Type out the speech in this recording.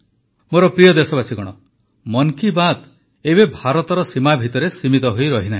ମୋର ପ୍ରିୟ ଦେଶବାସୀଗଣ ମନ୍ କୀ ବାତ୍ ଏବେ ଭାରତର ସୀମା ଭିତରେ ସୀମିତ ହୋଇ ରହିନାହିଁ